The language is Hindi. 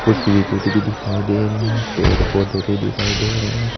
कुछ विकेट भी दिखाई दे रहे हैं पेड़ पौधे भी दिखाई दे रहे हैं।